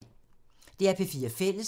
DR P4 Fælles